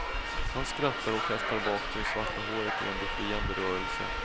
Han skrattar och kastar bak det svarta håret i en befriande rörelse.